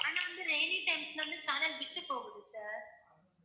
ஆனா வந்து rainy times ல வந்து channel விட்டு போகுது sir